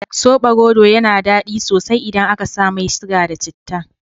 Sobarodo yana daɗi sosai idan aka sa mai siga da citta.